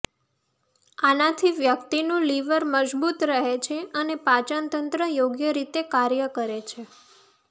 આનાથી વ્યક્તિનું લીવર મજબૂત રહે છે અને પાચનતંત્ર યોગ્ય રીતે કાર્ય કરે છે